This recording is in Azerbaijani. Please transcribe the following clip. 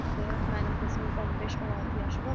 Mənim qızımın 15-16 yaşı var.